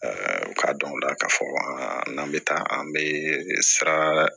u k'a dɔn o la k'a fɔ n'an bɛ taa an bɛ sara